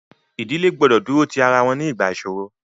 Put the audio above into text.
Ìdílé gbọdọ̀ dúró ti ara wọn nígbà ìṣoro.